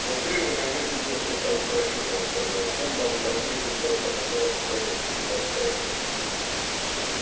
внутри вы найдёте несколько микрофильмов сказал сэлдон возьмите тот на котором стоит буква т